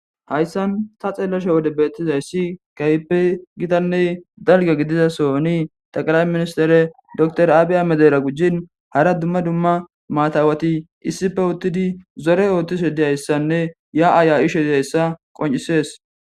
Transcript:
Hayssan ta xeelashe wode beettizayssi kaype gitanney dalga gididasoni taqara ministere door aabiya medera gujin hara dumma dumma maatawati issife uttidi zore oottise diyayssanne ya7aaya ishe diyayssa qoncisees.